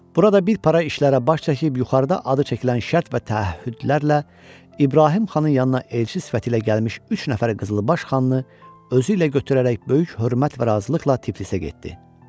Burada bir para işlərə baş çəkib yuxarıda adı çəkilən şərt və təəhhüdlərlə İbrahim xanın yanına elçi sifəti ilə gəlmiş üç nəfər qızılbaş xanını özü ilə götürərək böyük hörmət və razılıqla Tiflisə getdi.